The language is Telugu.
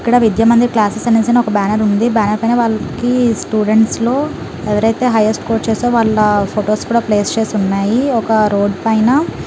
ఇక్కడ విద్యా మందిర్ క్లాసెస్ ఉంది ఒక బ్యానర్ ఉంది బ్యానర్ పైన వాళ్ళకి స్టూడెంట్స్ లో ఎవరైతే హైయెస్ట్ స్కోర్ వాళ్ళ ఫొటోస్ కూడా ప్లేస్ చేసేసి ఉన్నాయి. ఒక రోడ్డు పైన.